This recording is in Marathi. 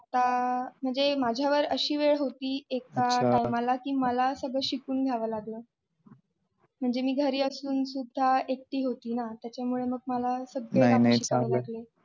अह म्हणजे माझ्यावर अशी वेळ होती एका time ला की मला सगळं शिकवून घ्यावं लागलं. म्हणजे मी घरी असून सुद्धा एकटी होती ना त्याच्यामुळे मग मला सगळे काम शिकायला लागले.